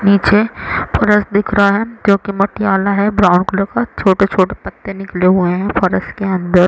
नीचे फर्स दिख रहा है जोकि मट्टियाला है ब्राउन कलर का छोटे -छोटे पत्ते निकले हुये है फर्स के अंदर